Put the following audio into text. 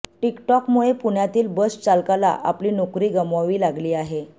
टिकटॉकमुळे पुण्यातील बस चालकाला आपली नोकरी गमवावी लागली आहे